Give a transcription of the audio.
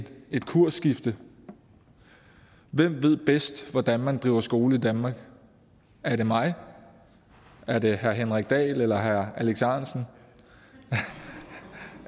kursskifte hvem ved bedst hvordan man driver skole i danmark er det mig er det herre henrik dahl eller herre alex ahrendtsen